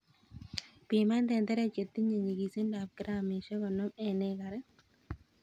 Piman tenderek chetinye nyikisindap 50g en ekarit.